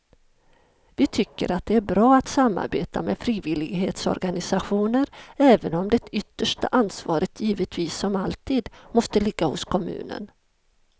Vi tycker att det är bra att samarbeta med frivillighetsorganisationer även om det yttersta ansvaret givetvis som alltid måste ligga hos kommunen.